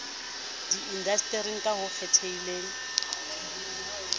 di indasteri ka ho kgethehileng